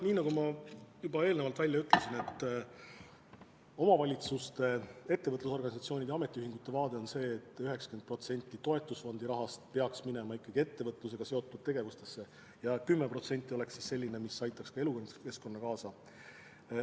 Nii nagu ma juba eelnevalt ütlesin, omavalitsuste, ettevõtlusorganisatsioonide ja ametiühingute arvamus on see, et 90% toetusfondi rahast peaks minema ettevõtlusega seotud tegevustesse ja 10% kasutataks elukeskkonna huvides.